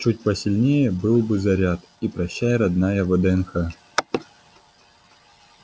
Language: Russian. чуть посильнее был бы заряд и прощай родная вднх